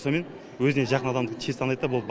сонымен өзіне жақын адамды тез таниды да болды